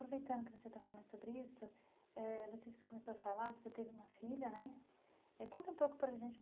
Aproveitando que você está falando sobre isso, eh você começou a falar, você teve uma filha, né? Conta um pouco para a gente.